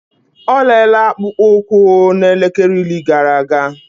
Olele akpụkpọ ụkwụ na elekele iri gara aga.